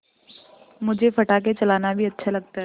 मुझे पटाखे चलाना भी अच्छा लगता है